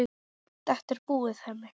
Þetta er búið, Hemmi.